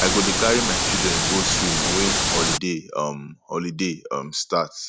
i go dey carry my children go swim wen holiday um holiday um start